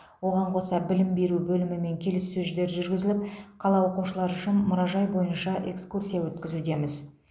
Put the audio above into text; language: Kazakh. оған қоса білім беру бөлімімен келіссөждер жүргізіліп қала оқушылары үшін мұражай бойынша экскурсия өткізудеміз